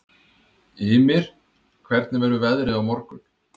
Ymir, hvernig verður veðrið á morgun?